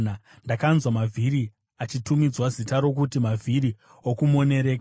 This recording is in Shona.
Ndakanzwa mavhiri achitumidzwa zita rokuti “mavhiri okumonereka.”